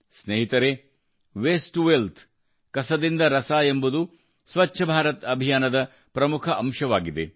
ಸ್ನೇಹಿತರೇ waste to wealth ಕಸದಿಂದ ರಸ ಎಂಬುದು ಸ್ವಚ್ಛ ಭಾರತ ಅಭಿಯಾನದ ಪ್ರಮುಖ ಅಂಶವಾಗಿದೆ